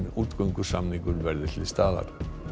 útgöngusamningur verði til staðar